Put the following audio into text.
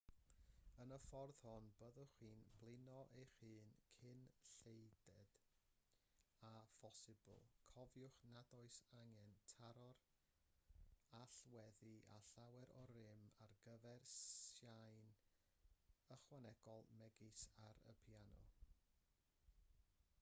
yn y ffordd hon byddwch chi'n blino eich hun cyn lleied â phosibl cofiwch nad oes angen taro'r allweddi â llawer o rym ar gyfer sain ychwanegol megis ar y piano